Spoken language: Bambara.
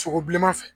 Sogo bilenman fɛ